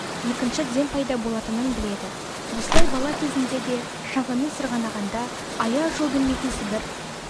екінші дем пайда болатынын біледі осылай бала кезінде де шаңғымен сырғанағанда аяз жол бермейтін сібір